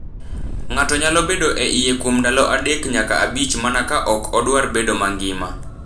ng’ato nyalo bedo e iye kuom ndalo adek nyaka abich mana ka ok odwar bedo mangima.